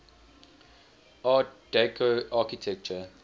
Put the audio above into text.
art deco architecture